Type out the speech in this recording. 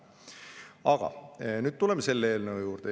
Aga nüüd tuleme selle eelnõu juurde.